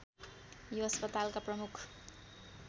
यो अस्पतालका प्रमुख